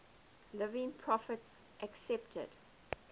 living prophets accepted